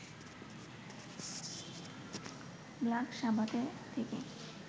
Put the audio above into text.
black সাবাথে থেকে